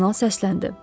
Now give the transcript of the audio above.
Kardinal səsləndi.